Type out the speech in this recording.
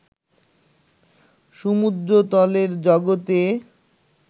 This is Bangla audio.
সমুদ্রতলের জগতে